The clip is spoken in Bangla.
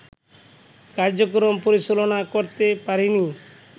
কার্যক্রম পরিচালনা করতে পারেনি